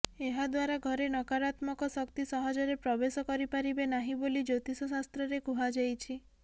ଏହାଦ୍ୱାରା ଘରେ ନକରାତ୍ମକ ଶକ୍ତିସହଜରେ ପ୍ରବେଶ କରିପାରିବେ ନାହିଁ ବୋଲି ଜ୍ୟୋତିଷ ଶାସ୍ତ୍ରରେ କୁହାଯାଇଛି